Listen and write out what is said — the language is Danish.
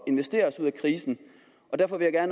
at investere os ud af krisen derfor vil jeg